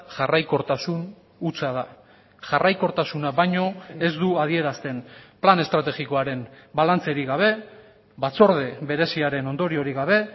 jarraikortasun hutsa da jarraikortasuna baino ez du adierazten plan estrategikoaren balantzerik gabe batzorde bereziaren ondoriorik gabe